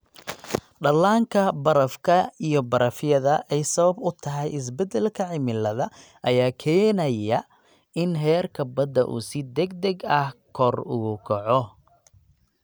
Dhallaanka barafka iyo barafyada ay sabab u tahay isbedelka cimilada ayaa keenaya in heerka badda uu si degdeg ah kor ugu kaco.